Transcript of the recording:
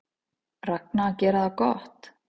Ragna að gera það gott